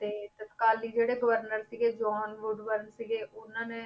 ਤੇ ਤਤਕਾਲੀ ਜਿਹੜੇ governor ਸੀਗੇ ਜੋਹਨ ਵੁਡ ਵਰਨ ਸੀਗੇ ਉਹਨਾਂ ਨੇ